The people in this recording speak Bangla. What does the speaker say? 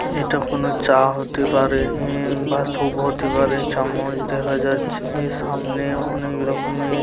এটা কোন চা হতে পারে। ই বা শুভ হতে পারে। চামচ দেখা যাচ্ছে। এ সামনে অনেক রকমের।